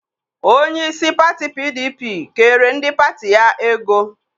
Onyeisi pati PDP kere ndị pati ya ego.